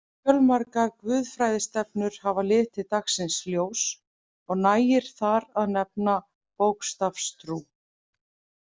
Fjölmargar guðfræðistefnur hafa litið dagsins ljós og nægir þar að nefna bókstafstrú.